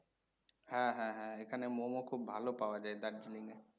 হ্যাঁ হ্যাঁ হ্যাঁ। এখানের মোমো খুব ভালো পাওয়া যায় Darjeeling এ।